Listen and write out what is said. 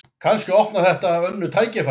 Kannski opnar þetta önnur tækifæri